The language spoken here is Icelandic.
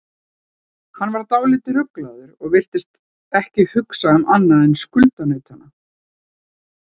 Hann var dálítið ruglaður og virtist ekki hugsa um annað en skuldunautana.